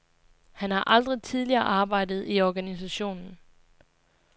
Han har aldrig tidligere arbejdet i organisationen.